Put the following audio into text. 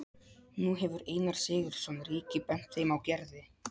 Nú hefur Einar Sigurðsson ríki bent þeim á Gerði.